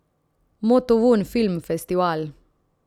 Motovun film festival.